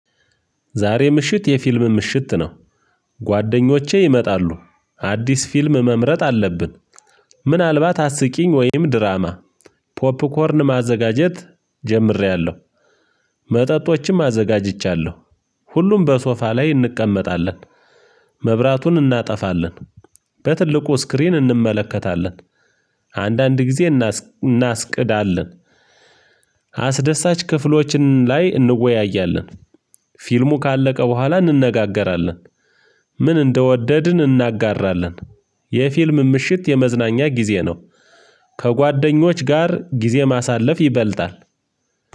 ዛሬ ምሽት የፊልም ምሽት ነው። ጓደኞቼ ይመጣሉ አዲስ ፊልም መምረጥ አለብን። ምናልባት አስቂኝ ወይም ድራማ። ፖፕኮርን ማዘጋጀት ጀምሬያለሁ። መጠጦችም አዘጋጅቻለሁ። ሁሉም በሶፋ ላይ እንቀመጣለን። መብራቱን እናጠፋለን። በትልቁ ስክሪን እንመለከታለን። አንዳንድ ጊዜ እናስቅዳለን። አስደሳች ክፍሎችን ላይ እንወያያለን። ፊልሙ ካለቀ በኋላ እንነጋገራለን። ምን እንደወደድን እናጋራለን። የፊልም ምሽት የመዝናኛ ጊዜ ነው። ከጓደኞች ጋር ጊዜ ማሳለፍ ይበልጣል።